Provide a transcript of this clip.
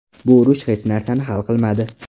Bu urush hech narsani hal qilmadi.